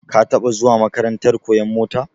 Ka taba zuwa makarantar koyan mota?